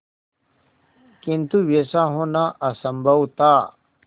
किंतु वैसा होना असंभव था